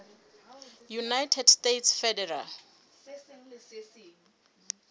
united states federal